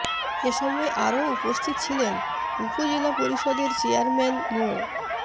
এ সময় আরো উপস্থিত ছিলেন উপজেলা পরিষদের চেয়ারম্যান মো